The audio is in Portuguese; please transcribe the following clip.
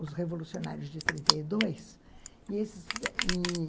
Os Revolucionários de trinta e dois, e